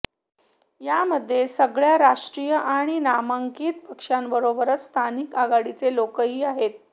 यामध्ये सगळ्या राष्ट्रीय आणि मानांकित पक्षांबरोबरच स्थानिक आघाडीचे लोकही आहेत